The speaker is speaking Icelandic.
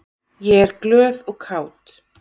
Ég er glöð og kát.